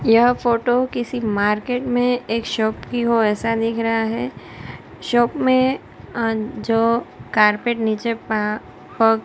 यह फोटो किसी मार्केट में एक शॉप की हो ऐसा दिख रहा है शॉप में अह जो कारपेट नीचे पड़ा प--